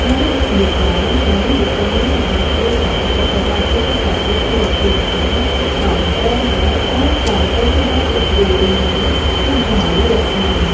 यह एक दुकान है दुकान मे बहुत सारे खाद्यों पदार्थों के पेकेट्स लटके हुए है एक काउंटर है ओर काउंटर के बाहर एक बोर मे कुछ झाड़ू रखे हुए है।